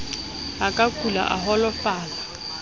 a ka kula a holofala